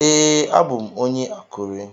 Ee, abu m onye Akure.